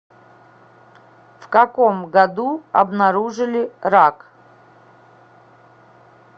в каком году обнаружили рак